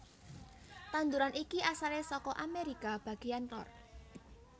Tanduran iki asalé saka Amerika bagéyan lor